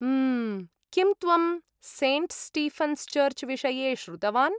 म्म्म्.. किं त्वं Saint Stephen's Church विषये श्रुतवान्?